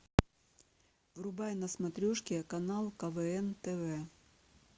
врубай на смотрешке канал квн тв